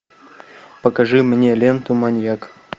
покажи мне ленту маньяк